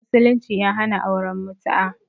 Musulunci ya hana auren mutu'a